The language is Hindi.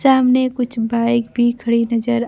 सामने कुछ बाइक भी कड़ी नजर--